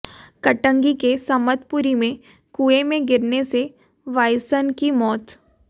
कटंगी के समतपुरी में कुएं में गिरने से बायसन की मौत